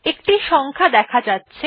একটি সংখ্যা দেখা যাচ্ছে